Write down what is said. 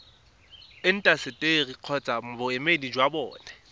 intaseteri kgotsa boemedi jwa bona